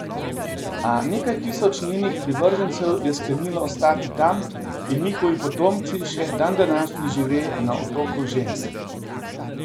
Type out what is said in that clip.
A nekaj tisoč njenih privržencev je sklenilo ostati tam in njihovi potomci še dandanašnji žive na Otoku žensk.